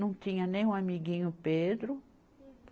Não tinha nenhum amiguinho Pedro.